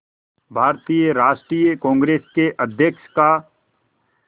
भारतीय राष्ट्रीय कांग्रेस के अध्यक्ष का